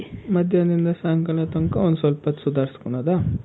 ಮದ್ಯಾನ್ದಿಂದ ಸಾಯಂಕಾಲ ತಂಕ ಒಂದ್ ಸ್ವಲ್ಪ ಹೊತ್ತ್ ಸುದಾರ್ಸ್ಕೊಳ್ಳೊದ?